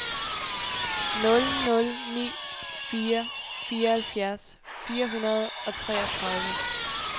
nul nul ni fire fireoghalvfjerds fire hundrede og treogtredive